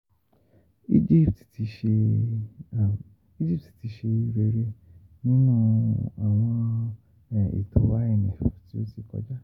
um Egypt ti ṣe Egypt ti ṣe rere ninu awọn eto IMF ti um o ti kọja.